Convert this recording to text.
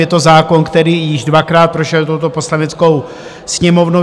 Je to zákon, který již dvakrát prošel touto Poslaneckou sněmovnou.